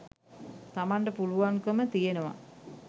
තමන්ට පුළුවන්කම තියෙනවා.